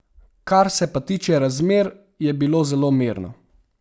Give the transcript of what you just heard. Kar se pa tiče razmer, je bilo zelo mirno.